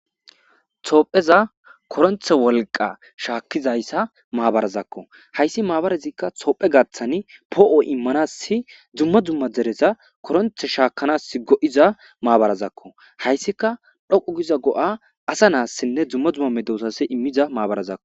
Toopheza koronthe wolqa shaakkizayssa maabarazakko hayssi maabarazikka toophe gaththani poo7o immanassi dzumma dzumma dereza koronthe shaakanas go7iza maabarazakko hayssika dhoqu giza go7a asa naassinne dzumma dzumma me doosase immiza maabarazakko